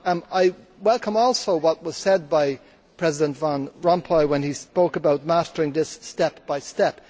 I welcome also what was said by President Van Rompuy when he spoke about mastering this step by step.